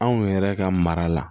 Anw yɛrɛ ka mara la